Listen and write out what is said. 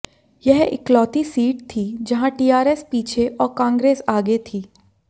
यह इकलौती सीट थी जहां टीआरएस पीछे और कांग्रेस आगे थी